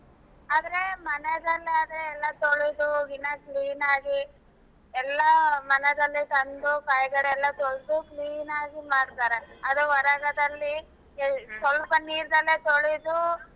ಆದ್ರೆ ಮನೇನಲ್ಲಾದರೆ ಎಲ್ಲಾ ತೊಳೆದು ಇನಾ clean ಆಗಿ ಎಲ್ಲಾ ಮನೆಗನೆ ತಂದು ಕೈಗಳೆಲ್ಲಾ ತೊಳ್ದು clean ಆಗಿ ಮಾಡ್ತಾರೆ ಅದೇ ಹೊರಗಡೆಯಲ್ಲಿ ಸ್ವಲ್ಪ ನಿರ್ನಲ್ಲೇ ತೊಳೆದು